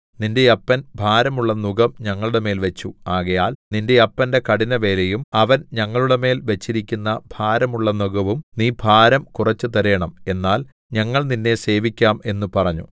നിന്റെ അപ്പൻ ഭാരമുള്ള നുകം ഞങ്ങളുടെമേൽ വെച്ചു ആകയാൽ നിന്റെ അപ്പന്റെ കഠിനവേലയും അവൻ ഞങ്ങളുടെമേൽ വെച്ചിരിക്കുന്ന ഭാരമുള്ള നുകവും നീ ഭാരം കുറെച്ചു തരേണം എന്നാൽ ഞങ്ങൾ നിന്നെ സേവിക്കാം എന്നു പറഞ്ഞു